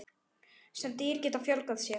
Sum dýr geta fjölgað sér.